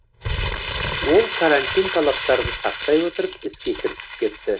олар карантин талаптарын сақтай отырып іске кірісіп кетті